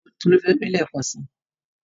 Tolu fẹ lóyún lekansi